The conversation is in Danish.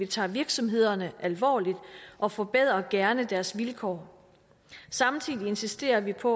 tager virksomhederne alvorligt og forbedrer gerne deres vilkår samtidig insisterer vi på